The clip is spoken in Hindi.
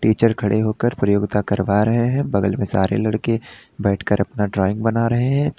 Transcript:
टीचर खड़े होकर प्रयोगिता करवा रहे हैं बगल में सारे लड़के बैठकर अपना ड्राइंग बना रहे हैं।